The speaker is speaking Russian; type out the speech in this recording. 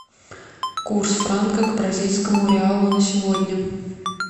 курс франка к бразильскому реалу на сегодня